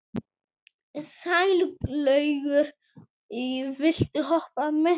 Sælaugur, viltu hoppa með mér?